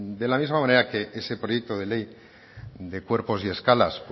de la misma manera que ese proyecto de ley de cuerpos y escalas